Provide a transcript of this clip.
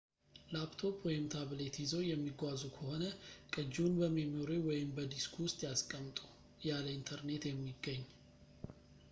ላፕቶፕ ወይም ታብሌት ይዘው የሚጓዙ ከሆነ፣ ቅጂውን በሜሞሪው ወይም በዲስኩ ውስጥ ያስቀምጡ ያለ ኢንተርኔት የሚገኝ